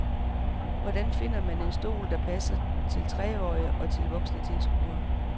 Hvordan finder man en stol, der både passer til treårige og til voksne tilskuere.